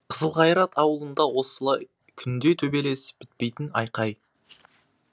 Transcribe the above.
қызылқайрат ауылында осылай күнде төбелес бітпейтін айқай